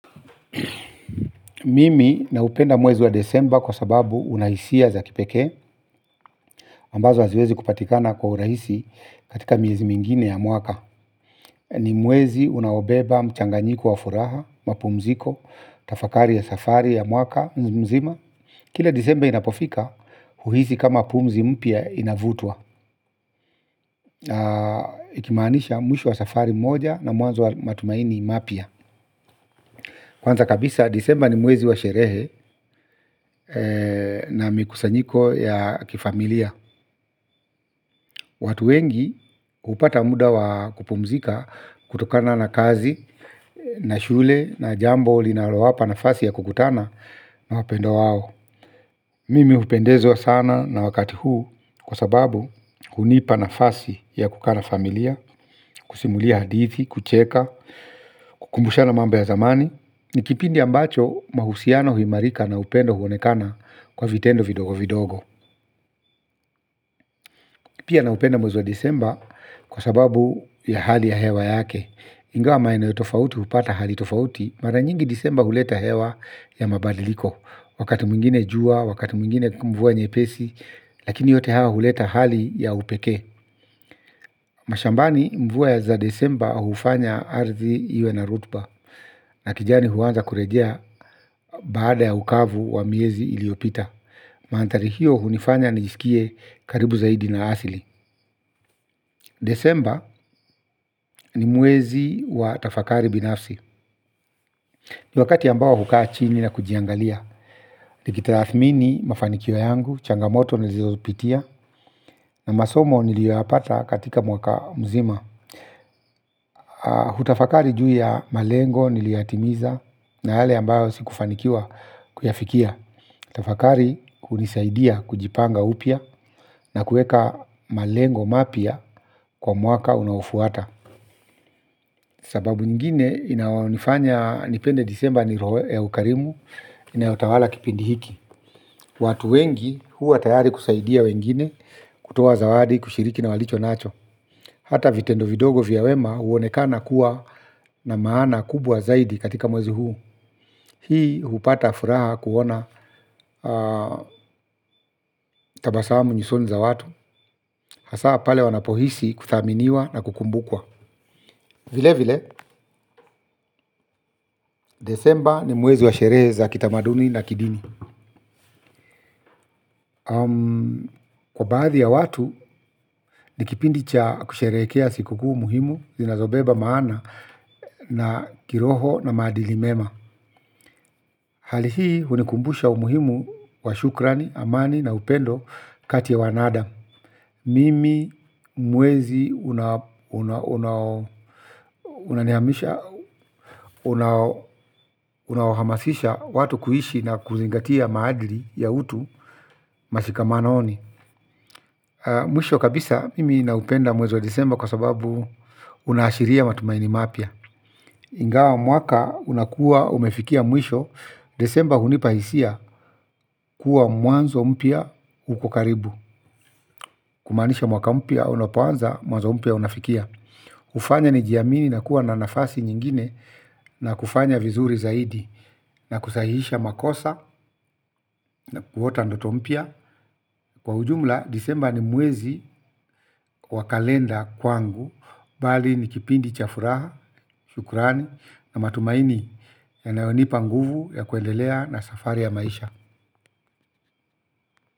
Mimi naupenda mwezi wa disemba kwa sababu una hisia za kipekee ambazo haziwezi kupatikana kwa urahisi katika miezi mingine ya mwaka. Ni mwezi unaobeba, mchanganyiko wa furaha, mapumziko, tafakari ya safari ya mwaka, mzima. Kila disemba inapofika, uhisi kama pumzi mpya inavutwa. Ikimaanisha mwisho wa safari moja na mwanzo wa matumaini mapya. Kwanza kabisa disemba ni mwezi wa sherehe na mikusanyiko ya kifamilia. Watu wengi hupata muda wa kupumzika kutokana na kazi, na shule, na jambo, linalowapa nafasi ya kukutana na wapendwa wao. Mimi hupendezwa sana na wakati huu kwa sababu hunipa nafasi ya kukaa na familia, kusimulia hadithi, kucheka, kukumbushana mambo ya zamani. Ni kipindi ambacho mahusiano huimarika na upendo huonekana kwa vitendo vidogo vidogo. Pia naupenda mwezi disemba kwa sababu ya hali ya hewa yake. Ingawa maeneo tofauti hupata hali tofauti mara nyingi disemba huleta hewa ya mabadiliko. Wakati mwingine jua, wakati mwingine mvua nyepesi. Lakini yote hayo huleta hali ya upekee. Mashambani mvua ya za disemba hufanya ardhi iwe na rotuba. Na kijani huanza kurejea baada ya ukavu wa miezi iliyopita. Mandhari hiyo hunifanya nijisikie karibu zaidi na asili. Disemba ni mwezi wa tafakari binafsi. Ni wakati ambao hukaa chini na kujiangalia. Nikitathmini mafanikio yangu, changamoto nilizopitia na masomo niliyoyapata katika mwaka mzima. Hutafakari juu ya malengo niliyoyatimiza na yale ambayo sikufanikiwa kuyafikia. Tafakari hunisaidia kujipanga upya na kueka malengo mapya kwa mwaka unaofuata. Sababu ingine inayonifanya nipende disemba ni ukarimu inayotawala kipindi hiki. Watu wengi huwa tayari kusaidia wengine kutoa zawadi kushiriki na walicho nacho. Hata vitendo vidogo vya wema huonekana kuwa na maana kubwa zaidi katika mwezi huu. Hii hupata furaha kuona tabasamu nyusoni za watu. Hasa pale wanapohisi kuthaminiwa na kukumbukwa. Vile vile, disemba ni mwezi wa sherehe za kitamaduni na kidini. Kwa baadhi ya watu, ni kipindi cha kusherehekea siku kuu muhimu zinazobeba maana na kiroho na maadili mema. Hali hii hunikumbusha umuhimu wa shukrani, amani na upendo kati ya wanadamu. Mimi mwezi unaniamsha unawahamasisha watu kuishi na kuzingatia maadili ya utu mashikamanoni mwisho kabisa mimi naupenda mwezi wa disemba kwa sababu unaashiria matumaini mapya. Ingawa mwaka unakuwa umefikia mwisho disemba hunipa hisia kuwa mwanzo mpya u karibu. Kumaanisha mwaka mpya unapoanza mwanzo mpia unafikia kufanya nijiamini na kuwa na nafasi nyingine na kufanya vizuri zaidi na kusahihisha makosa na kuota ndoto mpya. Kwa ujumla, disemba ni mwezi wa kalenda kwangu, bali ni kipindi cha furaha, shukurani na matumaini yanayonipa nguvu ya kuendelea na safari ya maisha.